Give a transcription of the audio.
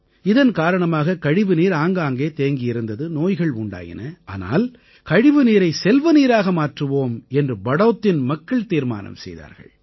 இதன் காரணமாக கழிவுநீர் ஆங்காங்கே தேங்கியிருந்தது நோய்கள் உண்டாயின ஆனால் கழிவுநீரை செல்வநீராக மாற்றுவோம் என்று படௌத்தின் மக்கள் தீர்மானம் செய்தார்கள்